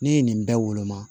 Ne ye nin bɛɛ woloma